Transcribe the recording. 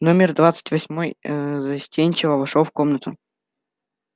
номер двадцать восьмой ээ застенчиво вошёл в комнату